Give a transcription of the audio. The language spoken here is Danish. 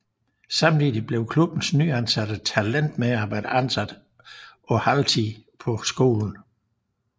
Samtidig blev klubbens nyansatte talentmedarbejder ansat på halvtid på skolen